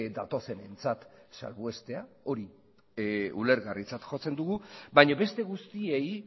datozenentzat salbuestea hori ulergarritzat jotzen dugu baina beste guztiei